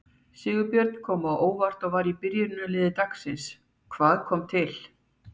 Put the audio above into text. Sigurbjörn kom á óvart og var í byrjunarliði dagsins, hvað kom til?